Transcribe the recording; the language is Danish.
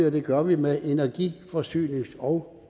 og det gør vi med energi forsynings og